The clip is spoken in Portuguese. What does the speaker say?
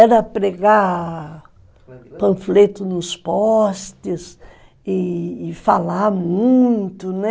Era pregar panfleto nos postes e e falar muito, né?